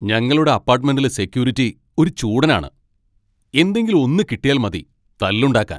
ഞങ്ങളുടെ അപ്പാട്ട്മെന്റിലെ സെക്യൂരിറ്റി ഒരു ചൂടനാണ്, എന്തെങ്കിലും ഒന്ന് കിട്ടിയാൽ മതി തല്ലുണ്ടാക്കാൻ.